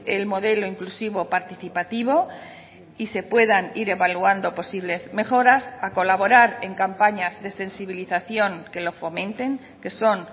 el modelo inclusivo participativo y se puedan ir evaluando posibles mejoras a colaborar en campañas de sensibilización que lo fomenten que son